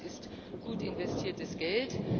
Ich denke, das ist gut investiertes Geld.